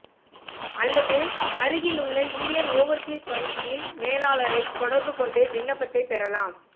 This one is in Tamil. அல்லது அருகில் உள்ள இந்தியன் ஓவர்சீஸ் வங்கியின் மேலாளரைத் தொடர்பு கொண்டு விண்ணப்பத்தை பெறலாம்